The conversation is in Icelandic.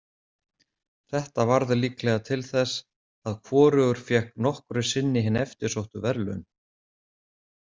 Þetta varð líklega til þess að hvorugur fékk nokkru sinni hin eftirsóttu verðlaun.